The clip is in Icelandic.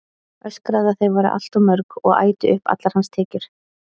Öskraði að þau væru allt of mörg og ætu upp allar hans tekjur.